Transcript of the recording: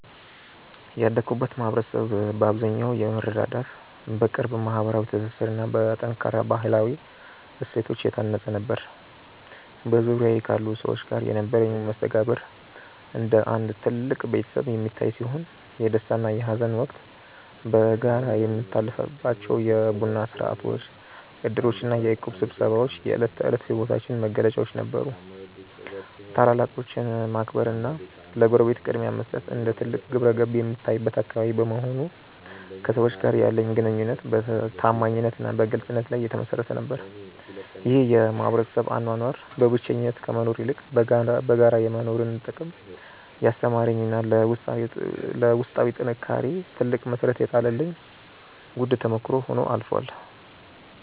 ያደግኩበት ማኅበረሰብ በአብዛኛው በመረዳዳት፣ በቅርብ ማኅበራዊ ትስስርና በጠንካራ ባሕላዊ እሴቶች የታነፀ ነበር። በዙሪያዬ ካሉ ሰዎች ጋር የነበረኝ መስተጋብር እንደ አንድ ትልቅ ቤተሰብ የሚታይ ሲሆን፣ የደስታና የሐዘን ወቅት በጋራ የሚታለፍባቸው የቡና ሥርዓቶች፣ ዕድሮችና የእቁብ ስብሰባዎች የዕለት ተዕለት ሕይወታችን መገለጫዎች ነበሩ። ታላላቆችን ማክበርና ለጎረቤት ቅድሚያ መስጠት እንደ ትልቅ ግብረገብ የሚታይበት አካባቢ በመሆኑ፣ ከሰዎች ጋር ያለኝ ግንኙነት በታማኝነትና በግልጽነት ላይ የተመሠረተ ነበር። ይህ የማኅበረሰብ አኗኗር በብቸኝነት ከመኖር ይልቅ በጋራ የመኖርን ጥቅም ያስተማረኝና ለውስጣዊ ጥንካሬዬ ትልቅ መሠረት የጣለልኝ ውድ ተሞክሮ ሆኖ አልፏል።